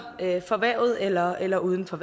erhvervet eller eller uden for